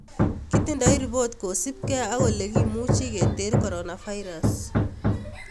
Kitindoii ripot kosipkei ak olekimuchii keteer coronavirus